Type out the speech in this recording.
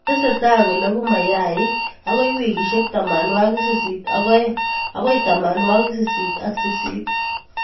Tesetai ko lagu mayaik akoi wikishek tamanwok sist ak aeng' akoi tamanwok sisit ak sisit